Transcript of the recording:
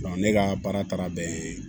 ne ka baara taara bɛn